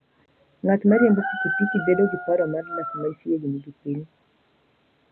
Ng'at ma riembo pikipiki bedo gi paro mar dak machiegni gi piny.